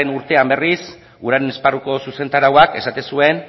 urtean berriz uraren esparruko zuzentarauak esaten zuen